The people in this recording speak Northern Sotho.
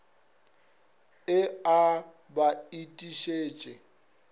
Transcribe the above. e a b ba itišitše